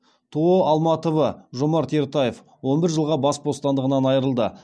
тоо алма тв жомарт ертаев он бір жылға бас бостандығынан айырылды